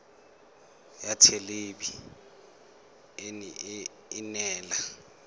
ya thelebi ene e neela